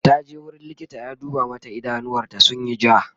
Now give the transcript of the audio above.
taje wurin likita ya duba mata idanuwar ta sunyi ja